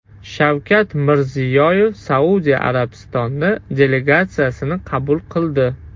Shavkat Mirziyoyev Saudiya Arabistoni delegatsiyasini qabul qildi.